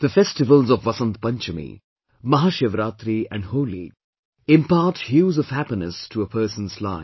The festivals of Vasant Panchami, Mahashivratri and Holi, impart hues of happiness to a person's life